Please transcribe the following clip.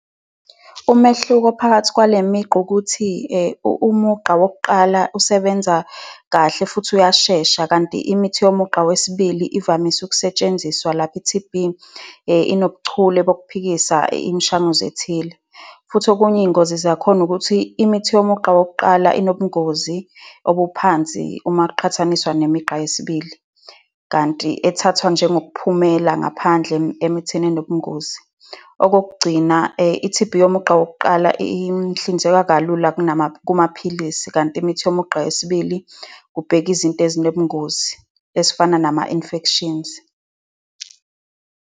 Umehluko phakathi kwale migqa ukuthi umugqa wokuqala usebenza kahle futhi uyashesha, kanti imithi yomugqa wesibili ivamise ukusetshenziswa lapho i-T_B inobuchule bkuphikisa imishanguzo ethile. Futhi okunye iy'ngozi zakhona ukuthi imithi yomugqa wokuqala inobungozi obuphansi uma kuqhathaniswa nemigqa yesibili, kanti ethathwa njengokuphumela ngaphandle emithini enobungozi. Okokugcina i-T_B yomugqa wokuqala ihlinzeka kalula kumaphilisi, kanti imithi yomugqa wesibili kubhekwa izinto ezinobungozi, ezifana nama-infections.